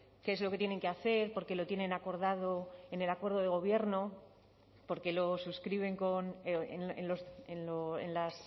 qué es lo que tienen que hacer porque lo tienen acordado en el acuerdo de gobierno porque lo suscriben en las